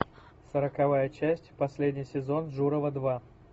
сороковая часть последний сезон журова два